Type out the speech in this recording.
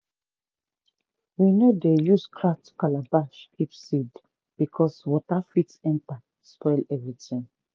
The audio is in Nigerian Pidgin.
we no dey use cracked calabash keep seed because water fit enter spoil everything.